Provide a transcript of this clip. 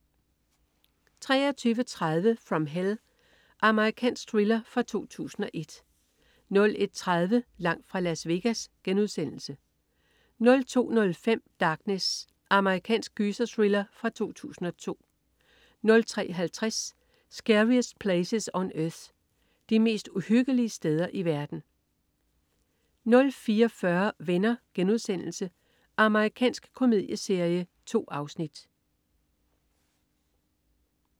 23.30 From Hell. Amerikansk thriller fra 2001 01.30 Langt fra Las Vegas* 02.05 Darkness. Amerikansk gyserthriller fra 2002 03.50 Scariest Places on Earth. De mest uhyggelige steder i verden 04.40 Venner.* Amerikansk komedieserie. 2 afsnit